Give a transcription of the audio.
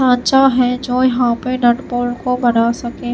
खांचा है जो यहां पे नटबॉल्ट को बना सके--